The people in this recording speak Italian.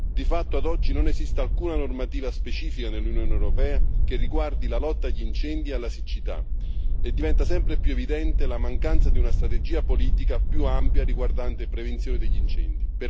Di fatto ad oggi non esiste alcuna normativa specifica nell'Unione europea che riguardi la lotta agli incendi e alla siccità, e diventa sempre più evidente la mancanza di una strategia politica più ampia riguardante la prevenzione degli incendi.